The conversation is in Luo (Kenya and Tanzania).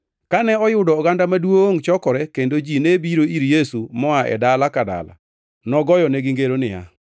Kane oyudo oganda maduongʼ chokore kendo ji ne biro ir Yesu moa e dala ka dala nogoyonegi ngero niya,